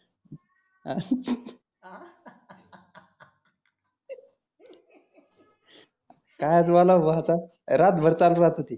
कायचं बोलावा भो आता रात भर चालु राहतं ते.